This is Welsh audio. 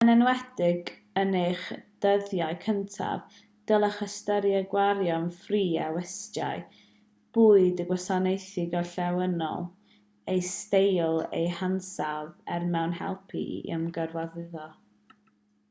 yn enwedig yn eich dyddiau cyntaf dylech ystyried gwario'n ffri ar westai bwyd a gwasanaethau gorllewinol eu steil a'u hansawdd er mwyn helpu i ymgyfarwyddo